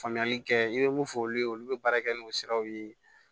Faamuyali kɛ i bɛ mun fɔ olu ye olu bɛ baara kɛ n'o siraw ye